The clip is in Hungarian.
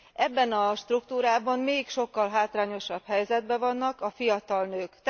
Ebben a struktúrában még sokkal hátrányosabb helyzetben vannak a fiatal nők.